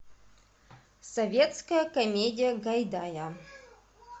советская комедия гайдая